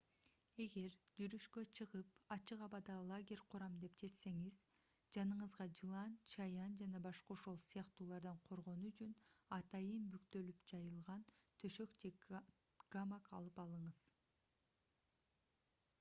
эгер жүрүшкө чыгып ачык абада лагерь курам деп чечсеңиз жаныңызга жылан чаян жана башка ошол сыяктуулардан коргонуу үчүн атайын бүктөлүп жыйылган төшөк же гамак алып алыңыз